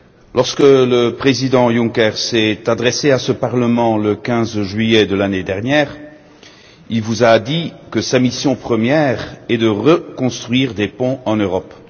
Lorsque le président Juncker s'est adressé à ce Parlement le 15 juillet de l'année dernière, il vous a dit que sa mission première est de reconstruire des ponts en Europe.